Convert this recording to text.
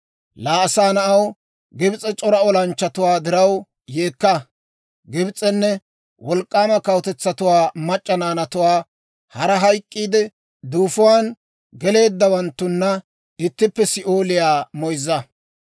«Laa asaa na'aw, Gibs'e c'ora olanchchatuwaa diraw yeekka! Gibs'enne wolk'k'aama kawutetsatuwaa mac'c'a naanatuwaa, hara hayk'k'iide duufuwaan geleeddawanttuna ittippe Si'ooliyaa moyzza.